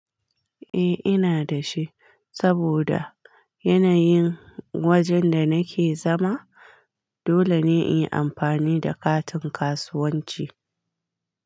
Eh ina da shi, saboda yanayin wajen da nake zama dole ne in yi amfani da katin kasuwanci.